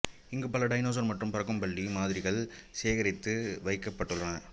இங்கு பல டைனோசர் மற்றும் பறக்கும் பல்லி மாதிரிகள் சேகரித்து வைக்கப்பட்டுள்ளன